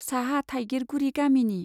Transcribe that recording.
साहा थाइगिरगुरी गामिनि।